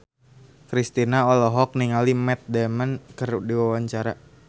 Kristina olohok ningali Matt Damon keur diwawancara